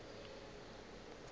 le go bega ka ga